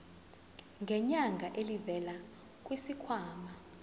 ngenyanga elivela kwisikhwama